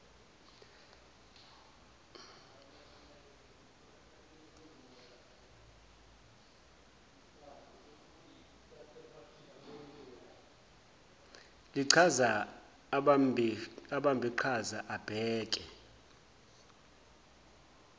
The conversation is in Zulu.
lichaza abambiqhaza ababheke